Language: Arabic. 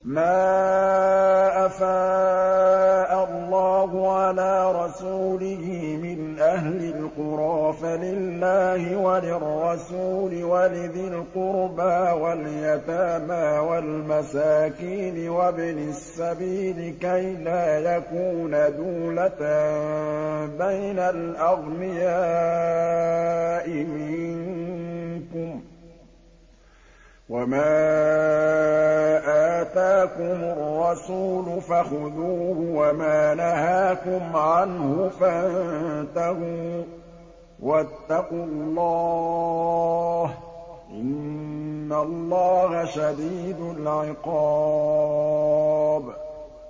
مَّا أَفَاءَ اللَّهُ عَلَىٰ رَسُولِهِ مِنْ أَهْلِ الْقُرَىٰ فَلِلَّهِ وَلِلرَّسُولِ وَلِذِي الْقُرْبَىٰ وَالْيَتَامَىٰ وَالْمَسَاكِينِ وَابْنِ السَّبِيلِ كَيْ لَا يَكُونَ دُولَةً بَيْنَ الْأَغْنِيَاءِ مِنكُمْ ۚ وَمَا آتَاكُمُ الرَّسُولُ فَخُذُوهُ وَمَا نَهَاكُمْ عَنْهُ فَانتَهُوا ۚ وَاتَّقُوا اللَّهَ ۖ إِنَّ اللَّهَ شَدِيدُ الْعِقَابِ